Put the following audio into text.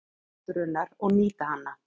Vilja njóta náttúrunnar og nýta hana